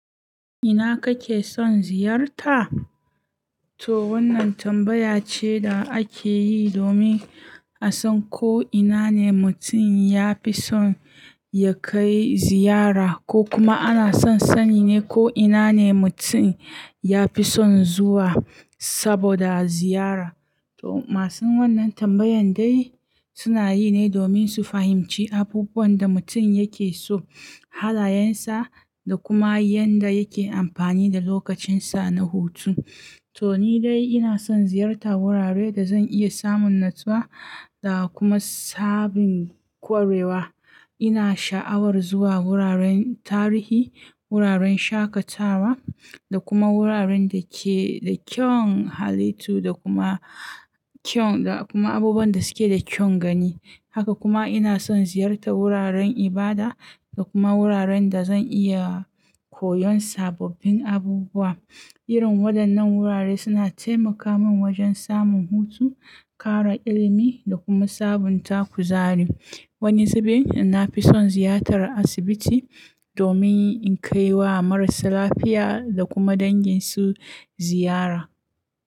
Ina kake son ziyarta? To wannan tambaya ce da ake yi domin a san ko ina ne mutum ya fi son ya kai ziyara ko kuma ana son sani ne ko ina ne mutum ya fi son zuwa saboda ziyara. To masu wannan tambayan dai suna yi ne domin su fahimci abubuwan da mutum yake so, halayensa da kuma yanda yake amfani da lokacinsa na hutu. To ni dai ina son ziyartar wuraren da zan iya samun natsuwa da kuma sabin kwarewa. Ina sha'awar zuwa wuraren tarihi, wuraren shakatawa da kuma wuraren da ke da kyawun halittu da kuma kyau da kuma abubuwan da suke da kyaun gani. Haka kuma ina son ziyartar wuraren ibada da kuma wuraren da zan iya koyon sababbin abubuwa. Irin waɗannan wurare suna taimaka min wajen samun hutu, ƙara ilimi da kuma sabunta kuzari. Wani zubin na fi son ziyartar asibiti domin in kai wa marasa lafiya da kuma danginsu ziyara.